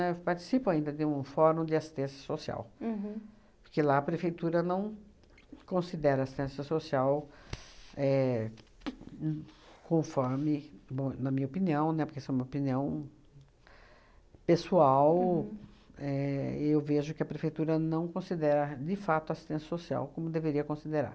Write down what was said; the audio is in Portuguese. Eu participo ainda de um fórum de assistência social. Uhum. Porque lá a prefeitura não considera assistência social éh conforme, bom na minha opinião, né, porque isso é uma opinião pessoal, éh eu vejo que a prefeitura não considera de fato assistência social como deveria considerar.